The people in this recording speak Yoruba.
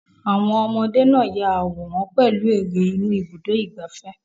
Àwọn ọmọdé náà yà àwòrán pẹ̀lú eré inú Ibùdó-ìgbafẹ́.